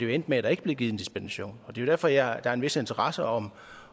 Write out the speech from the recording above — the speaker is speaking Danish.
endte med at der ikke blev givet dispensation og det er jo derfor der er en vis interesse om